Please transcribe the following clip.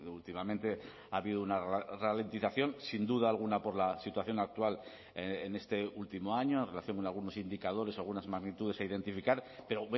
últimamente ha habido una ralentización sin duda alguna por la situación actual en este último año en relación con algunos indicadores algunas magnitudes a identificar pero